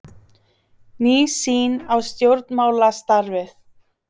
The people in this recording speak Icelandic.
Ný sýn á stjórnmálastarfið